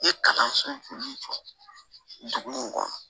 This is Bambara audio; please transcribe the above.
I ye kalan sɔrɔ min jɔ dugu in kɔnɔ